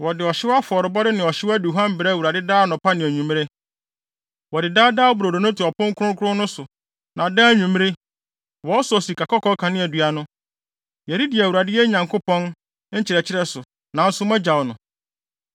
Wɔde ɔhyew afɔrebɔde ne ɔhyew aduhuam brɛ Awurade daa anɔpa ne anwummere. Wɔde Daa Daa Brodo no to ɔpon kronkron no so, na daa anwummere, wɔsɔ sikakɔkɔɔ kaneadua no. Yɛredi Awurade, yɛn Nyankopɔn, nkyerɛkyerɛ so, nanso moagyaw no.